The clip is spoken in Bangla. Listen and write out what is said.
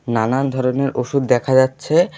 নানান ধরনের ওষুধ দেখা যাচ্ছে।